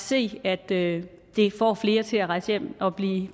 se at det får flere til at rejse hjem at blive